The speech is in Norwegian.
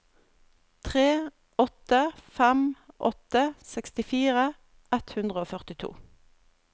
tre åtte fem åtte sekstifire ett hundre og førtito